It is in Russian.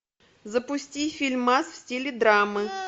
запусти фильмас в стиле драмы